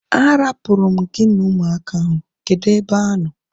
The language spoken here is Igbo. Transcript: A rapuru m gị na ụmụaka ahu. Kedụ ebe ha nọ